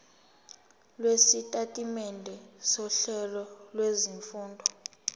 lwesitatimende sohlelo lwezifundo